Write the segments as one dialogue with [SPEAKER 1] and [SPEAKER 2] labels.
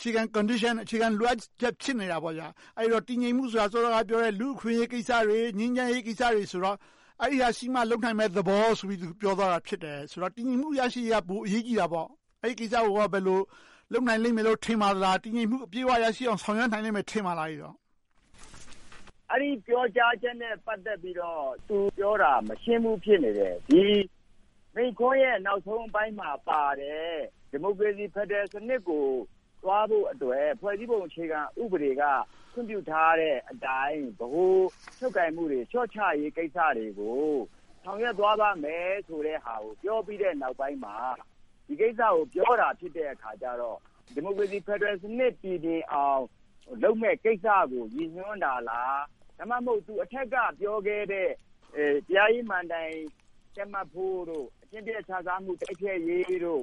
[SPEAKER 1] ခြေခံ Condition, အခြေခံ လိုအပ်ချက် ဖြစ်နေတာပေါ့။ အဲဒီတော့ တည်ငြိမ်မှုဆိုတာ စောစောကပြောတဲ့ လူ့အခွင့်အရေးကိစ္စတွေ၊ ငြိမ်းချမ်းရေးကိစ္စတွေဖြစ်တော့ အဲဒါတွေရှိမှ လုပ်နိုင်မယ့်သဘောဆိုပြီး ပြောသွားတာ ဖြစ်တယ်။ ဆိုတော့ တည်ငြိမ်မှု ရရှိရေးက ပိုအရေးကြီးတာပေါ့။ အဲဒီကိစ္စကို ဘယ်လို လုပ်နိုင်လိမ့်မယ်လို့ ထင်ပါသလား။ တည်ငြိမ်မှု အပြည့်အဝ ရရှိအောင် ဆောင်ရွက်နိုင်လိမ့်မယ်လို ထင်ပါသလား။
[SPEAKER 2] အဲဒီပြောကြားချက်နဲ့ ပတ်သက်ပြီးတော့ သူပြောတာ မရှင်းဘူး ဖြစ်နေတယ်။ မိန့်ခွန်းရဲ့ နောက်ဆုံးပိုင်းမှာပါတဲ့ ဒီမိုကရေစီ ဖယ်ဒရယ်စနစ်ကို သွားဖို့အတွက် ဖွဲ့စည်းပုံအခြေခံဥပဒေက ခွင့်ပြုထားတဲ့အတိုင်း ဗဟိုချုပ်ကိုင်မှုတွေ လျှော့ချရေးကိစ္စတွေကို ဆောင်ရွက်သွားမယ့်ဟာကို ပြောပြီးတဲ့နောက်ပိုင်းမှာ ဒီကိစ္စကို ပြောတာဖြစ်တဲ့အခါကြတော့ ဒီမိုကရေစီ ဖယ်ဒရယ်စနစ် ပြီပြင်အောင် လုပ်မယ့်ကိစ္စကို ရည်ညွှန်းတာလား။ ဒါမှမဟုတ် အထက်က ပြောခဲ့တဲ့ တရားရေးမဏ္ဍိုင် တည်မတ်ဖို့၊ အကျင့်ပျက်ခြစားမှု တိုက်ဖျက်ရေး၊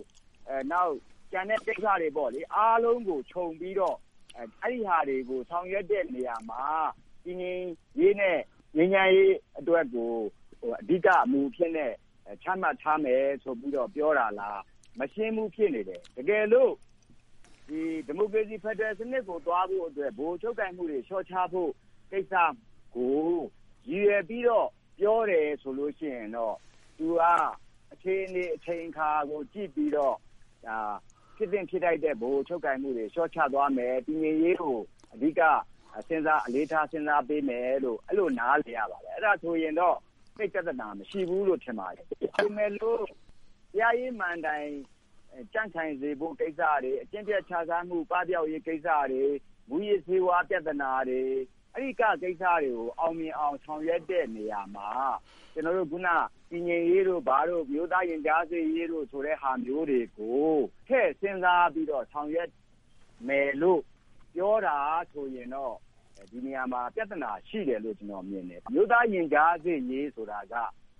[SPEAKER 2] နောက် ကျန်တဲ့ကိစ္စတွေ အားလုံးကိုခြုံပြီးတော့ ဆောင်ရွက်တဲ့နေရာမှာ တည်ငြိမ်ရေး နဲ့ ငြိမ်းချမ်းရေး အတွက်ကို မူအဖြစ်နဲ့ ချမှတ်ထားမယ်လို့ ပြောတာလား။ မရှင်းဘူး ဖြစ်နေတယ်။ တကယ်လို ဒီမိုကရေစီ ဖယ်ဒရယ်စနစ်ကို သွားဖို့အတွက် အခြေအနေ၊ အချိန်အခါကို ကြည့်ပြီးတော့ ဒါဟာ ဖြစ်သင့်ဖြစ်ထိုက်တဲ့ ဗဟိုချုပ်ကိုင်မှုတွေ လျှော့ချဖို့ကိစ္စကို၊ တည်ငြိမ်းရေးကို အဓိကစဉ်းစားထာပေးမယ်လို့ အဲဒီလို နားလည်ရပါတယ်။ အဲဒါဆိုရင်တော့ သိပ်ပြဿနာ မရှိဘူးလို့ ထင်ပါတယ်။ အကယ်၍ တရားရေးမဏ္ဍိုင် ကြံ့ခိုင်စေဖို့ကိစ္စတွေ၊ အကျင့်ပျက်ခြစားမှု လုံးဝပပျောက်ရေး ကိစ္စတွေ။ မှုးယစ်ဆေးဝါး ပြဿနာတွေ။ အဲဒီကိစ္စတွေကို အောင်မြင်အောင် ဆောင်ရွက်တဲ့နေရာမှာ အခုန တည်ငြိမ်းရေးတို့၊ ဘာတို့၊ အမျိုးသားရင်ကြားစေ့ရေး ဆိုတဲ့ဟာတွေကို ထည့်စဉ်းစားပြီတော့ ဆောင်ရွက်မယ်လို့ ပြောတာဆိုရင်တော့ ဒီနေရာမှာ ပြဿနာတွေ ရှိတယ်လို့ မြင်တယ်။ အမျိုးသားရင်ကြားစေ့ရေးဆိုတာက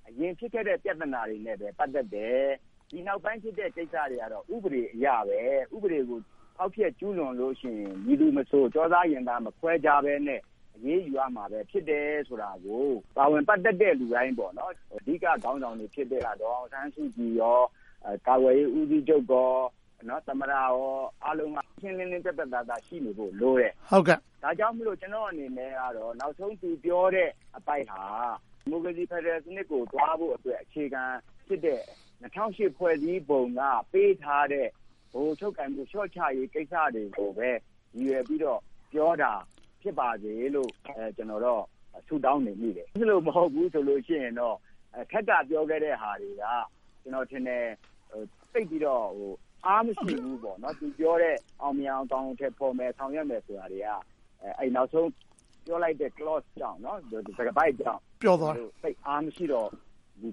[SPEAKER 2] အရင်ဖြစ်ခဲ့တဲ့ ပြဿနာတွေနဲ့ပဲ ပတ်သက်တယ်။ ဒီနောက်ပိုင်းဖြစ်တဲ့ ကိစ္စတွေက ဥပဒေအရပဲ။ ဥပဒေကို ဖော်ဖျက်ကျူးလွန်လို့ရှိရင် မည်သူမဆို၊ ကျောသား၊ ရင်ထဲ မခွဲခြားတတ်ဘဲ အရေးယူရမယ် ဖြစ်တယ်လို့ ပါဝင်ပတ်သက်တဲ့ လူတိုင်း အဓိကခေါင်းဆောင်တွေ ဖြစ်ခဲ့ရတာကတော့ ဒေါ်အောင်ဆန်းစုကြည်နဲ့ ကာကွယ်ရေး ဦးစီးချုပ်၊ သမ္မတ အားလုံးက ရှင်းရှင်းလင်းလင်း ပြတ်ပြတ်သားသား ရှိနေဖို့လိုတယ်။ ဒါကြောင့်မို့ ကျနော်အနေနဲ့ နောက်ဆုံး သူပြောတဲ့အပိုင်းဟာ ဒီမိုကရေစီ ဖယ်ဒရယ်စနစ်ကို သွားဖို့အတွက် အခြေခံဖြစ်တဲ့ ၂၀၀၈ ဖွဲ့စည်းပုံက ပေးထားတဲ့ ဗဟိုချုပ်ကိုင်မှု လျှော့ချရေးကိစ္စတွေကိုပဲ ရည်ရွယ်ပြီးတော့ ပြောတာ ဖြစ်ပါတယ်လို့ ကျနော်တော့ ဆုတောင်းနေမိတယ်။ အဲဒီလို မဟုတ်ဘူးဆိုရင်တော့ အထက်က ပြောခဲ့တဲ့ဟာတွေက ကျနော်ထင်တယ် သိပ်ပြီးတော့ အားမရှိဘူး။ သူပြောတဲ့ အောင်မြင်အောင် အကောင်အထည်ဖော်မယ်။ ဆောင်ရွက်မယ်ဆိုတာတွေက နောက်ဆုံး Clone ကြောင့် သိပ်အားမရှိတော့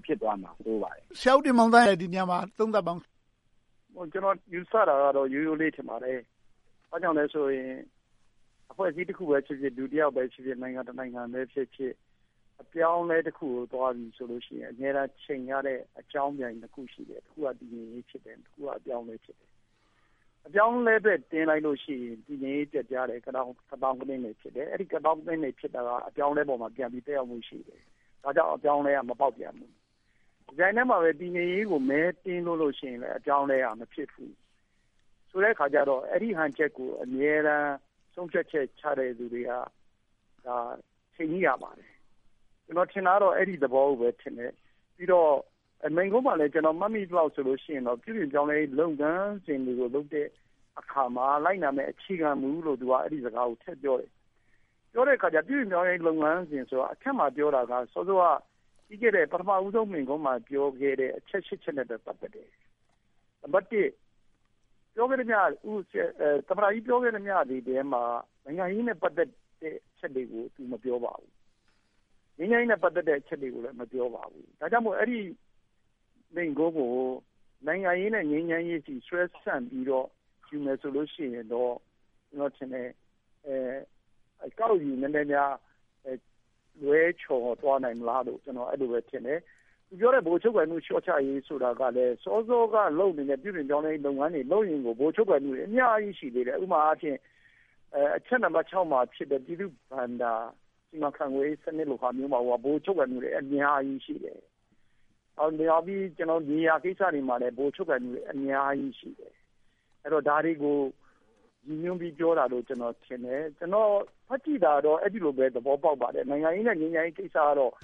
[SPEAKER 2] ဖြစ်သွားမှာ ဆိုးပါတယ်။
[SPEAKER 1] ဆရာဦးတင်မောင်သန်း ဒါကို သုံးသပ်ပါအုံး။
[SPEAKER 3] ကျနော် ယူဆတာကတော့ ရိုးရိုးလေးထင်ပါတယ်။ ဘာကြောင့်လဲဆိုရင် အဖွဲ့အစည်း တဖွဲ့ပဲဖြစ်ဖြစ် လူတယောက်ဖြစ်ဖြစ်၊ နိုင်ငံတနိုင်ငံပဲဖြစ်ဖြစ် အပြောင်းအလဲတခုကို သွားပြီဆိုရင် အမြဲတမ်း ယှဉ်ရတဲ့ အကြောင်းပြန်နှစ်ခု ရှိတယ်။ တခုက တည်ငြိမ်ရေး ဖြစ်တယ်။ နောက်တခုက အပြောင်းအလဲ ဖြစ်တယ်။ အပြောင်းအလဲအတွက် တင်းလိုက်လို့ရှိရင် တည်ငြိမ်ရေးပျက်ပြားတယ်။ ကသောင်းကနင်း ဖြစ်တယ်။ အဲဒီ ကသောင်းကနင်းတွေ ဖြစ်တာက အပြောင်းအလဲပေါ်မှာပြန်ပြီး သက်ရောက်မှုရှိနေတယ်။ ဘာကြောင့် အပြောင်းအလဲက မပေါက်ပြန်လဲ။ တပြိုင်တည်းမှာ တည်ငြိမ်ရေးကို မဲတင်းလို့ရှိရင် အပြောင်းအလဲက မဖြစ်ဘူး။ ဆိုတဲ့အခါကြတော့ အဲဒီဟန်ချက်ကို အမြဲတမ်း ဆုံးဖြတ်ချက်ချတဲ့ လူတွေက ထိန်းညှိရလိမ့်မယ်။ ကျနော်ထင်တာကတော့ အဲဒီသဘောကိုပဲထင်တယ်။ ပြီးတော့ မိန့်ခွန်းမှာလည်း ကျနော် မှတ်မိသလောက်ဆိုရင် ပြုပြင်ပြောင်းလဲရေး လုပ်ငန်းစဉ်တွေကိုလုပ်တဲ့အခါမှာ လိုက်နာရမယ့် အခြေခံမူလို့ အဲဒီစကားကို သူက ထည့်ပြောတယ်။ ပြောတဲ့အခါကြတော့ ပြုပြင်ပြောင်းလဲရေး လုပ်ငန်းစဉ်ကို အထက်မှာပြောတာက စောစောက ပထမဦးဆုံး မိန့်ခွန်းမှာပြောခဲ့တဲ့ အချက် ရှစ်ချက်နဲ့လည်း ပတ်သက်တယ်။ နံပတ်တစ် သမ္မတကြီး ပြောခဲ့သမျှတွေထဲမှာ နိုင်ငံရေးနဲ့ ပတ်သက်တဲ့ အချက်တွေကို သူမပြောပါဘူး။ ငြိမ်းချမ်းရေးနဲ့ ပတ်သက်တဲ့ အချက်တွေကိုလည်း မပြောပါဘူး။ ဒါကြောင့်မို့ အဲဒီမိန့်ခွန်းကို နိုင်ငံရေးနဲ့ ငြိမ်းချမ်းရေးအထိ ဆွဲဆန့်ပြီးတော့ ယူမယ်ဆိုရင်တော့ ကျနော်ထင်တယ် အကောက်ယူနည်းနည်းများ လွဲချော်သွားနိုင်မလားလို့ ကျနော် အဲဒီလိုပဲထင်တယ်။ သူပြောတဲ့ ဗဟိုချုပ်ကိုင်မှု လျှော့ချရေးဆိုတာကလဲ စောစောက လုပ်နေတဲ့ ပြုပြင်ရေးလုပ်ငန်းတွေကိုလုပ်ရင် ဗဟိုချုပ်ကိုင်မှုတွေ အများကြီးရှိတယ်။ ဥပမာအားဖြင့် အချက်နံပတ်ခြောက်မှာဖြစ်တဲ့ ပြည်သူ့ဘဏ္ဍာ စီမံခန့်ခွဲရေးမှာတင် ဗဟိုချုပ်ကိုင်မှုတွေ အများကြီးရှိတယ်။ မြေယာကိစ္စတွေမှာလည်း ဗဟိုချုပ်ကိုင်မှုတွေ အများကြီးရှိတယ်။ ဒါတွေကို ရည်ညွှန်းပြီးပြောတာလို့ ကျနော်ထင်တယ်။ ကျနော် ဖတ်ကြည့်တာတော့ အဲဒီလိုပဲ သဘောပေါက်ပါတယ်။ နိုင်ငံရေးနဲ့ ငြိမ်းချမ်းရေးကိစ္စကတော့